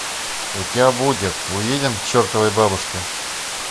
у тебя будет уедем к чертовой бабушке